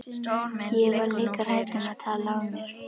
Ég var líka hrædd um að tala af mér.